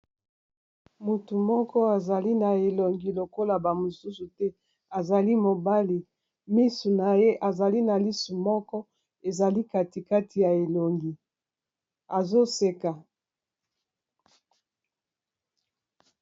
Motu moko azali na elongi lokola ba mosusu te azali mobali miso naye azali na lisu moko ezali katikati ya elongi azoseka